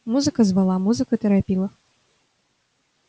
музыка звала музыка торопила